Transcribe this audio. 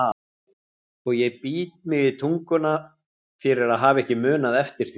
Og ég bít mig í tunguna fyrir að hafa ekki munað eftir því.